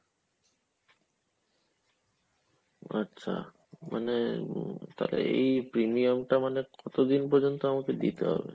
আচ্ছা মানে হম তাহলে এই premium টা মানে কতদিন পর্যন্ত আমাকে দিতে হবে ?